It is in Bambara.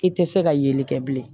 I tɛ se ka yeli kɛ bilen